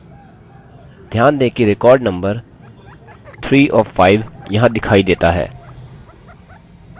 ध्यान दें कि record number 3 of 5 यहाँ दिखाई देता है